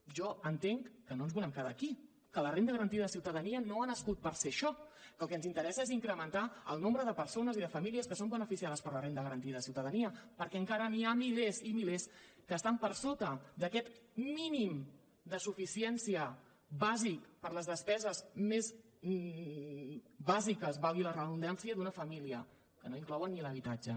jo entenc que no ens volem quedar aquí que la renda garantida de ciutadania no ha nascut per ser això que el que ens interessa és incrementar el nombre de persones i de famílies que són beneficiades per la renda garantida de ciutadania perquè encara n’hi ha milers i milers que estan per sota d’aquest mínim de suficiència bàsic per a les despeses més bàsiques valgui la redundància d’una família que no inclouen ni l’habitatge